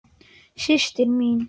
Systir mín.